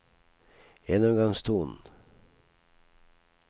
gjennomgangstonen